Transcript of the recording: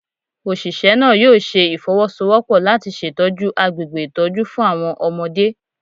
Oṣiṣẹ naa yoo ṣe ifowosowopo lati ṣetọju agbegbe itọju fun awọn ọmọde